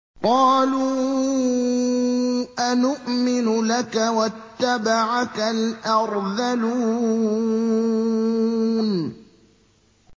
۞ قَالُوا أَنُؤْمِنُ لَكَ وَاتَّبَعَكَ الْأَرْذَلُونَ